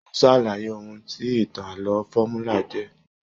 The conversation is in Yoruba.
O sàlàyé òhun tí ìtàn ààlọ́ fọmúlà jẹ.